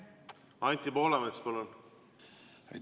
Anti Poolamets, palun!